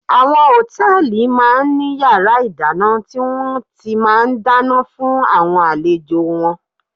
Àwọn Hòtẹ́lìì máa ń ní yàrá ìdáná tí wón ti máa ń dáná fún àwọn àlejò wọn.